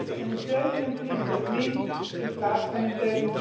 dus een 27 in plaats van een